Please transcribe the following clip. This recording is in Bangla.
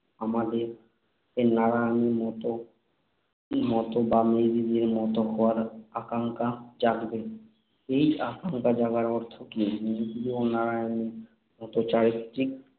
আমাদের নারায়ণীর মতো মতো বা মেজদিদির মতো হওয়ার আকাঙ্ক্ষা জাগবে। এই আকাঙ্ক্ষা জাগার অর্থ কী? মেজদিদি এবং নারায়ণীর মত চারিত্রিক